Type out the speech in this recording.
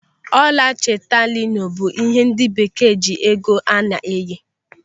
Ọla chetalinu bụ ihe ndị Bekee ji ego a na-eyi.